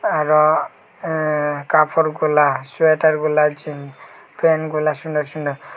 আরও এএ কাফড়গুলা সোয়েটারগুলা জিন প্যান্টগুলা সুনে সুনে।